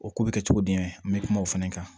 O ko bɛ kɛ cogo di n bɛ kuma o fɛnɛ kan